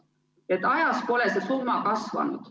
Nii et ajas pole see summa kasvanud.